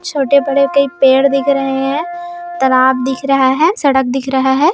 छोटे-बड़े कई पेड़ दिख रहे है तालाब दिख रहा है सड़क दिख रहा है।